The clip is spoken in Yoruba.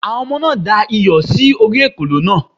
Àwọn ọmọ náà da iyọ̀ sí orí ekòló náà